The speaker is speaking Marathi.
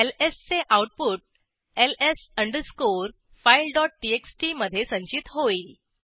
एलएस चे output ls file dot TXT मधे संचित होईल